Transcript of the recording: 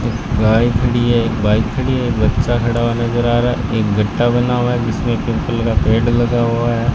गाय के खड़ी है एक बाइक खड़ी है एक बच्चा खड़ा हुआ नजर आ रहा है एक गट्टा बना हुआ है जिसमें पिंपल का पेड़ लगा हुआ है।